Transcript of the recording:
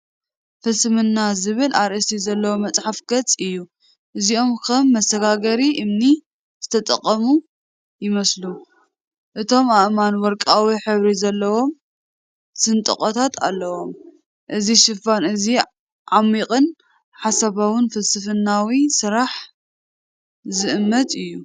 "ፍልስምና" ዝብል ኣርእስቲ ዘለዎ መጽሓፍ ገጽ እዩ። እዚኦም ከም መሰጋገሪ እምኒ ዝተቐመጡ ይመስሉ። እቶም ኣእማን ወርቃዊ ሕብሪ ዘለዎም ስንጥቆታት ኣለዎም። እዚ ሽፋን እዚ ዓሚቝን ሓሳባውን ፍልስፍናዊ ስራሕ ዝእምት እዩ።